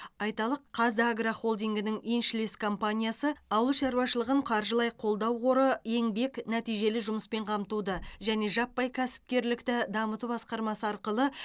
айталық қазагро холдингінің еншілес компаниясы ауыл шаруашылығын қаржылай қолдау қоры еңбек нәтижелі жұмыспен қамтуды және жаппай кәсіпкерлікті дамыту басқармасы арқылы